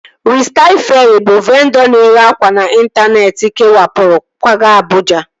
Ristail Feerị bụ vendọ na-ere akwa n'intaneeti kewapụrụ kwaga Abụja